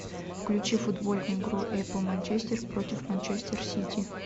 включи футбольную игру апл манчестер против манчестер сити